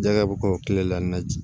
Jaka bɛ k'o kile la n na